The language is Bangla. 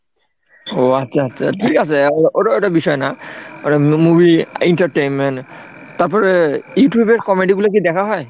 ও আচ্ছা আচ্ছা ঠিক আছে ওটা~ওটা বিষয় না ওটা movie entertainment, তারপরে YouTube এর comedy গুলো কি দেখা হয়?